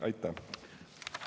Aitäh!